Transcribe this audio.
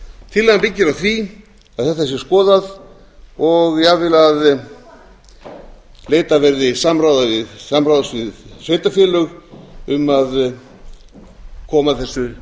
tillagan byggir á því að þetta sé skoðað og jafnvel að leitað verði samráðs við sveitarfélög um að koma þessu